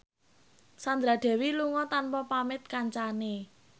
Sandra Dewi lunga tanpa pamit kancane